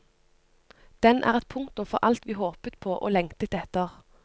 Den er et punktum for alt vi håpet på og lengtet etter.